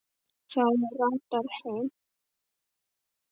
Það ratar heim.